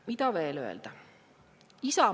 Mida veel öelda?